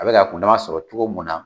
A be ka kundama sɔrɔ cogo mun na